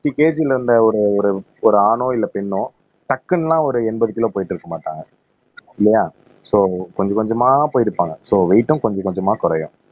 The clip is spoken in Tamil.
பிப்டி KG ல இருந்த ஒரு ஒரு ஒரு ஆணோ இல்ல பெண்ணோ டக்குனுலாம் ஒரு எண்பது கிலோ போயிட்டு இருக்க மாட்டாங்க இல்லையா சோ கொஞ்சம் கொஞ்சமா போயிருப்பாங்க சோ வெயிட்டும் கொஞ்சம் கொஞ்சமா குறையும்